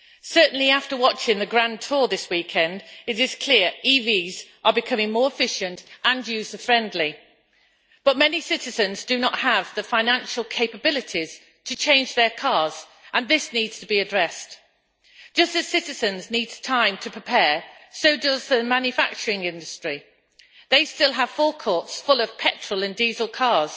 Certainly, after watching the grand tour this weekend, it is clear that EVs are becoming more efficient and user friendly, but many citizens do not have the financial capabilities to change their cars, and this needs to be addressed. Just as citizens need time to prepare, so does the manufacturing industry. They still have forecourts full of petrol and diesel cars.